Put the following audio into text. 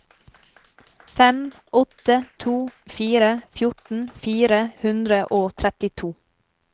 fem åtte to fire fjorten fire hundre og trettito